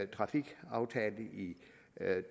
trafikaftale i